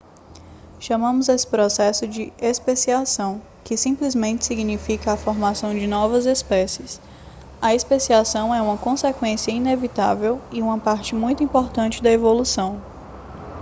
chamamos esse processo de especiação que simplesmente significa a formação de novas espécies a especiação é uma consequência inevitável e uma parte muito importante da evolução